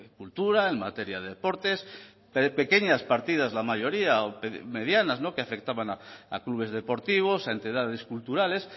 cultura en materia de deportes pequeñas partidas la mayoría o medianas que afectaban a clubes deportivos a entidades culturales